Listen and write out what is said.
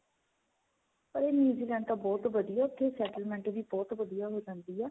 ਅਰੇ new Zealand ਤਾਂ ਬਹੁਤ ਵਧੀਆ ਤੇ ਉੱਥੇ settlement ਵੀ ਬਹੁਤ ਵਧੀਆ ਹੋ ਜਾਂਦੀ ਏ.